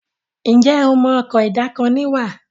Njé o mọ Ọkọ̀ ìdákoní wà?